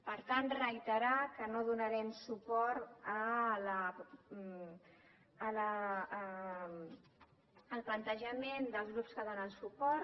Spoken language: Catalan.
per tant reiterar que no donarem suport al plantejament dels grups que donen suport